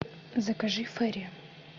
закажи фейри